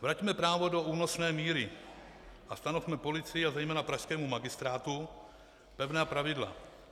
Vraťme právo do únosné míry a stanovme policii a zejména pražskému magistrátu pevná pravidla.